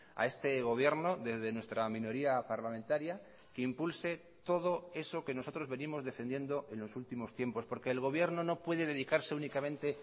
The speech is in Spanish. a este gobierno desde nuestra minoría parlamentaria que impulse todo eso que nosotros venimos defendiendo en los últimos tiempos porque el gobierno no puede dedicarse únicamente